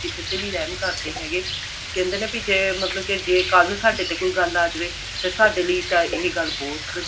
ਕਿਸੇ ਤੇ ਵੀ ਰਿਹਮ ਕਰਦੇ ਹੈਗੇ ਕਹਿੰਦੇ ਕਿ ਜੇ ਮਤਲਬ ਕੱਲ ਨੂੰ ਸਾਡੇ ਤੇ ਕੋਈ ਗੱਲ ਆ ਜਾਵੇ ਤੇ ਸਾਡੇ ਲਈ ਤਾਂ ਇਹ ਗੱਲ ਬਹੁਤ